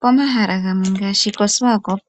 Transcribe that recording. Pomahala gamwe ngaashi koSwakop